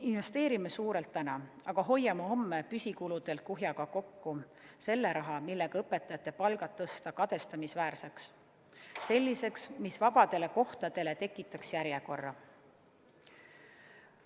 Investeerime suurelt täna, aga hoiame homme püsikuludelt kuhjaga kokku selle raha, millega tõsta õpetajate palgad kadestamisväärseks ja selliseks, mis tekitaks vabadele kohtadele järjekorra.